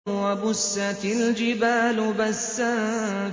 وَبُسَّتِ الْجِبَالُ بَسًّا